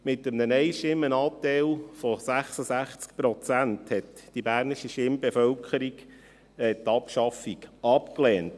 Mit einem Nein-Stimmen-Anteil von 66 Prozent lehnte die bernische Stimmbevölkerung die Abschaffung ab.